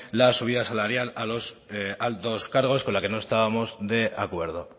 la subida salarial a los altos cargos con la que no estábamos de acuerdo